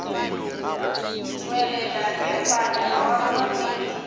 tšwelela ge baanegwa ba babedi